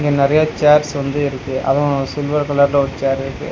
இங்க நறையா சேர்ஸ் வந்து இருக்கு அதுவு சில்வர் கலர்ல ஒரு சேர் இருக்கு.